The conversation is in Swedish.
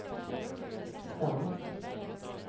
stam